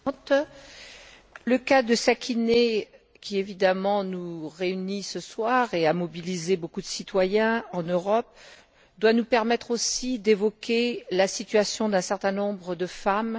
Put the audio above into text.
Madame la Présidente, le cas de Sakineh qui évidemment nous réunit ce soir et a mobilisé beaucoup de citoyens en Europe doit nous permettre aussi d'évoquer la situation d'un certain nombre de femmes.